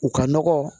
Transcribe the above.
U ka nɔgɔ